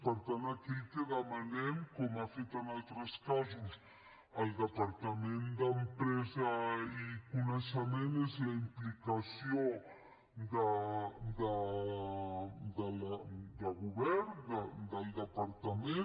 per tant aquí el que demanem com ha fet en altres casos el departament d’empresa i coneixement és la implicació del govern del departament